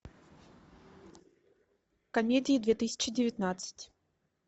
комедии две тысячи девятнадцать